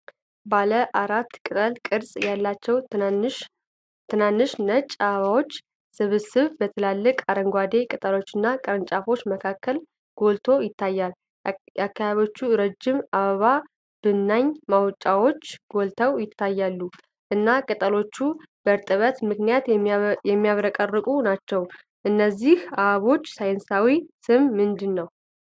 ባለ አራት ቅጠል ቅርጽ ያላቸው ትናንሽ ነጭ አበባዎች ስብስብ በትላልቅ አረንጓዴ ቅጠሎችና ቅርንጫፎች መካከል ጎልቶ ይታያል። የአበባዎቹ ረጅም የአበባ ብናኝ ማውጫዎች ጎልተው ይታያሉ፣ እና ቅጠሎቹ በእርጥበት ምክንያት የሚያብረቀርቁ ናቸው። የእነዚህ አበቦች ሳይንሳዊ ስም ምንድን ነው?